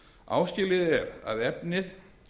áskilið er að efnið